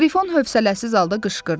Qrifon hövsələsiz halda qışqırdı.